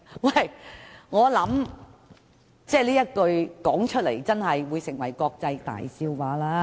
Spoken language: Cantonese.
我認為這句話只會成為國際大笑話。